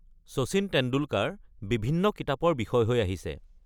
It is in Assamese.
শচীন তেণ্ডুলকাৰ বিভিন্ন কিতাপৰ বিষয় হৈ আহিছে।